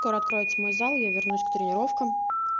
скоро откроется мой зал я вернусь к тренировкам